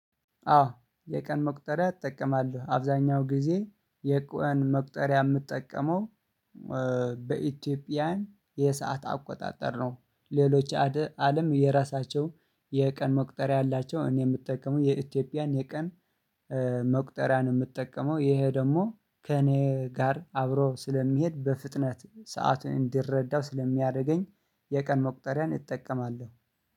አዎ የቀን መቁጠሪያ እጠቀማለሁ አብዛኛው ጊዜ የቀን መቁጠሪያ የምጠቀመው በኢትዮጵያን የሰዓት አቆጣጠር ነው። ሌሎች አለም የራሳቸው የቀን መቁጠሪያ አላቸው። እኔ የምጠቀመው የኢትዮጵያን የቀን መቁጠሪያ ነው። የምጠቀመው ይሄ ደግሞ ከእኔ ጋር አብሮ ስለሚሄድ በፍጥነት ሰዓት እንድረዳው ስለሚያደርገኝ የቀን መቁጠሪያን እጠቀማለሁ